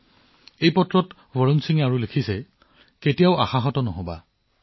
একেখন পত্ৰতে বৰুণ সিঙে লিখিছে কেতিয়াও আশা এৰি নিদিব